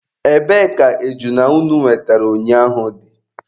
Ebee ka ejuna unu wetere ụnyaahụ dị?